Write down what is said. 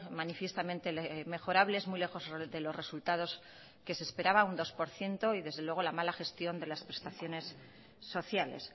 manifiestamente mejorables muy lejos de los resultados que se esperaba un dos por ciento y desde luego la mala gestión de las prestaciones sociales